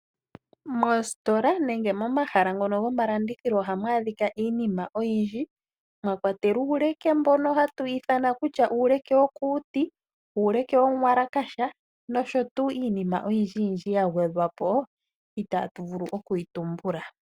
Moositola nenge momahala ngono gomalandithilo ohamu adhikwa iinima oyindji, mwa kwatelwa uuleke mbono hatu ithana kutya uuleke wo kuuti, uuleke womuwalakasha nosho tuu iinima oyindji yindji ya gwedhwa po, itaa tu vulu oku yi tumbula.